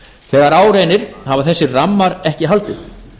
þegar á reynir hafa þessir rammar ekki haldið